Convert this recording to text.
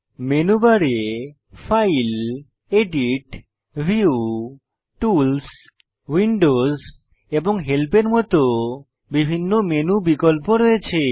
menu বারে file edit view tools windows এবং help এর মত বিভিন্ন মেনু বিকল্প রয়েছে